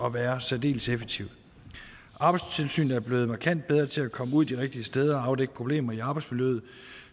at være særdeles effektivt arbejdstilsynet er blevet markant bedre til at komme ud de rigtige steder og afdække problemer i arbejdsmiljøet